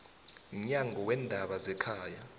mnyango weendaba zekhaya